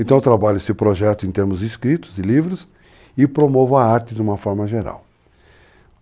Então eu trabalho esse projeto em termos escritos, de livros, e promovo a arte de uma forma geral.